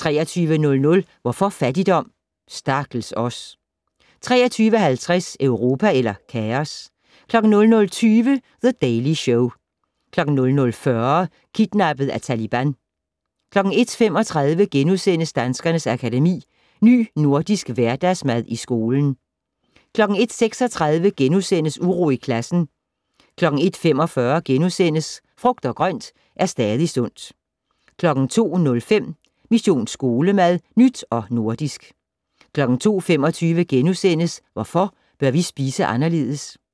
23:00: Hvorfor fattigdom? - Stakkels os! 23:50: Europa eller kaos? 00:20: The Daily Show 00:40: Kidnappet af Taliban 01:35: Danskernes Akademi: Ny Nordisk Hverdagsmad i skolen * 01:36: Uro i klassen * 01:45: Frugt og grønt er stadig sundt * 02:05: Mission Skolemad: Nyt og nordisk 02:25: Hvorfor bør vi spise anderledes? *